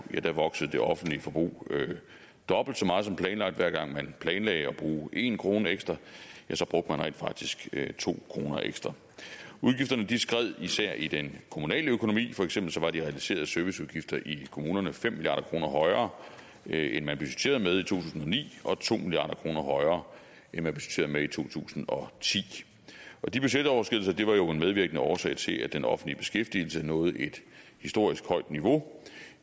voksede det offentlige forbrug dobbelt så meget som planlagt hver gang man planlagde at bruge en kroner ekstra ja så brugte man rent faktisk to kroner ekstra udgifterne skred især i den kommunale økonomi for eksempel var de realiserede serviceudgifter i kommunerne fem milliard kroner højere end man budgetterede med i to tusind og ni og to milliard kroner højere end man budgetterede med i to tusind og ti de budgetoverskridelser var jo en medvirkende årsag til at den offentlige beskæftigelse nåede et historisk højt niveau